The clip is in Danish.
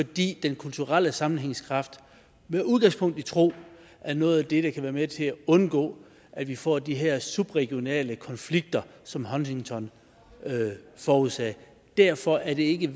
fordi den kulturelle sammenhængskraft med udgangspunkt i tro er noget af det der kan være med til undgå at vi får de her subregionale konflikter som huntington forudsagde derfor er det ikke